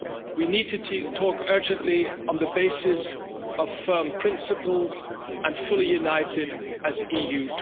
We need to talk urgently on the basis of firm principles and fully united as the EU